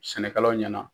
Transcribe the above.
Sɛnɛkɛlaw ɲɛna